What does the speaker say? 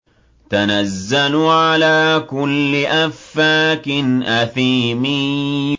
تَنَزَّلُ عَلَىٰ كُلِّ أَفَّاكٍ أَثِيمٍ